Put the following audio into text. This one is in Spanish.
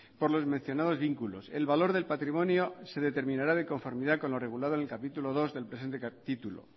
por los mencionados vínculos el valor de patrimonio se determinará de conformidad con lo regulado en el capítulo segundo del presente título